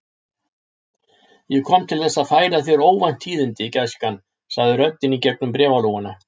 Ég kom til þess að færa þér óvænt tíðindi, gæskan sagði röddin í gegnum bréfalúguna.